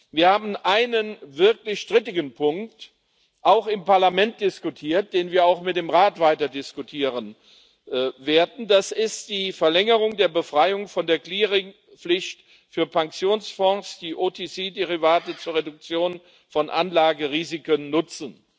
Wir haben einen wirklich strittigen Punkt auch im Parlament diskutiert, den wir auch mit dem Rat weiterdiskutieren werden das ist die Verlängerung der Befreiung von der Clearingpflicht für Pensionsfonds, die OTC Derivate zur Reduktion von Anlagerisiken nutzen.